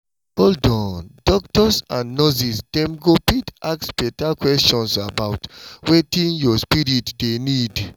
hold on! doctors and nurses dem go fit ask better questions 'bout wetin your spirit dey need.